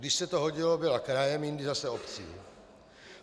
Když se to hodilo, byla krajem, jindy zase obcí.